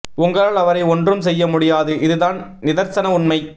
உங்களால் அவரை ஒன்றும் செய்ய முடியாது இது தான் நிதர்சன உண்மை